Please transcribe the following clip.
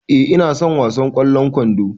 E, ina son wasan ƙwallon kwando.